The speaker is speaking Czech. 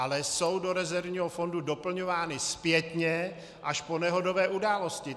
Ale jsou do rezervního fondu doplňovány zpětně až po nehodové události.